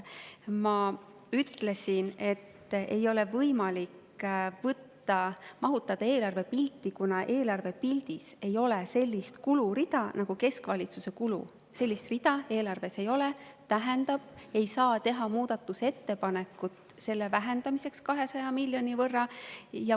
Ma ütlesin, et seda ei ole võimalik mahutada eelarvepilti, kuna eelarvepildis ei ole sellist kulurida nagu keskvalitsuse kulud, sellist rida eelarves ei ole, mis tähendab, et ei saa teha muudatusettepanekut selle vähendamiseks 200 miljoni võrra.